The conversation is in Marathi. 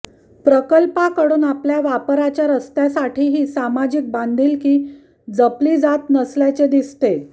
प्रकल्पाकडून आपल्या वापराच्या रस्त्यासाठीही सामाजिक बांधिलकी जपली जात नसल्याचे दिसते